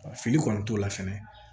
Fili kɔni t'o la fɛnɛ